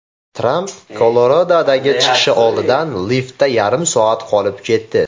Tramp Koloradodagi chiqishi oldidan liftda yarim soat qolib ketdi.